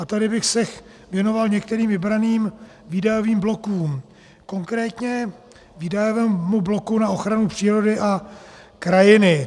A tady bych se věnoval některým vybraným výdajovým blokům, konkrétně výdajovému bloku na ochranu přírody a krajiny.